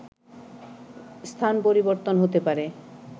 স্থান পরিবর্তন হতে পারে